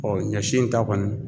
Ɔn ɲɔ si in ta kɔni